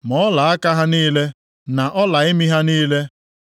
ma ọlaaka ha niile na ọla imi ha niile,